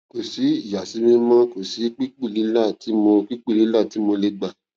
kò sí ìyàsímímímó kò sí pípùlílà tí mo pípùlílà tí mo lè gbà